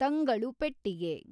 ತಂಗಳುಪೆಟ್ಟಿಗೆ